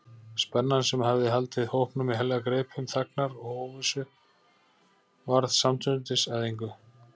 Spennan, sem hafði haldið hópnum í heljargreipum þagnar og óvissu, varð samstundis að engu.